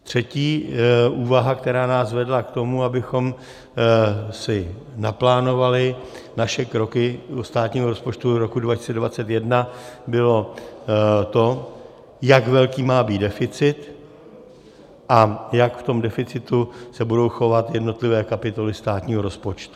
Třetí úvaha, která nás vedla k tomu, abychom si naplánovali naše kroky do státního rozpočtu roku 2021, bylo to, jak velký má být deficit a jak v tom deficitu se budou chovat jednotlivé kapitoly státního rozpočtu.